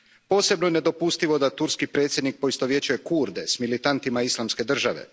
Posebno je nedopustivo da turski predsjednik poistovjećuje Kurde s militantima Islamske države.